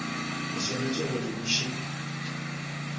o swanetše go di bušet